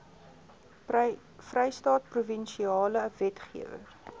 vrystaat provinsiale wetgewer